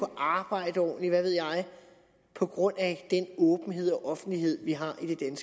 arbejde ordentligt eller hvad ved jeg på grund af den åbenhed og offentlighed vi har i det